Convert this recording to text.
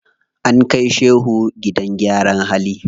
An kai shehu gidan gyara hali.